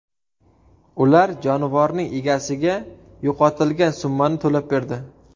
Ular jonivorning egasiga yo‘qotilgan summani to‘lab berdi.